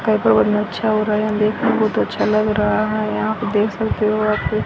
अच्छा हो रहा है देखने बहोत अच्छा लग रहा है यहां पे आप देख सकते हो यहां पे--